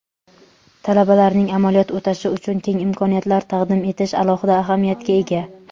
talabalarning amaliyot o‘tashi uchun keng imkoniyatlar taqdim etish alohida ahamiyatga ega.